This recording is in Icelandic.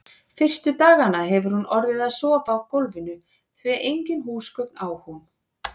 Fyrstu dagana hefur hún orðið að sofa á gólfinu, því engin húsgögn á hún.